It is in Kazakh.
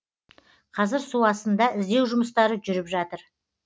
қазір су астында іздеу жұмыстары жүріп жатыр